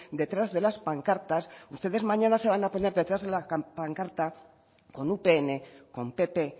detrás de las pancartas ustedes mañana se van a poner detrás de la pancarta con upn con pp